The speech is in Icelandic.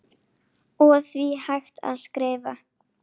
og því hægt að skrifa